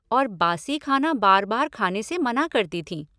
और बासी खाना बार बार खाने से मना करती थीं।